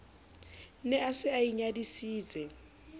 ne a se a inyadisitse